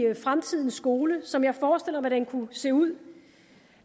fremtidens skole som jeg forestiller mig den kunne se ud